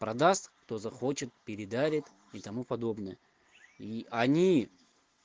продаст кто захочет передарит и тому подобное и они